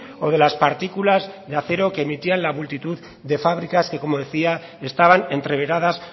o de las partículas de acero que emitían la multitud de fábricas que como decía estaban entreveradas